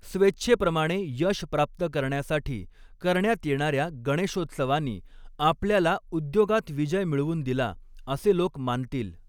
स्वेच्छेप्रमाणे यश प्राप्त करण्यासाठी करण्यात येणाऱ्या गणेशोत्सवानी, आपल्याला उद्योगात विजय मिळवून दिला, असे लोक मानतील.